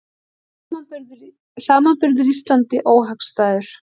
Samanburður Íslandi óhagstæður